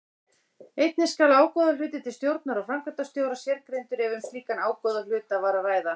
Einnig skal ágóðahluti til stjórnar og framkvæmdastjóra sérgreindur ef um slíkan ágóðahluta var að ræða.